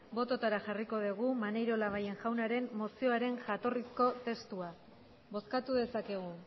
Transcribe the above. botoetara jarriko dugu maneiro labayen jaunaren mozioaren jatorrizko testua bozkatu dezakegu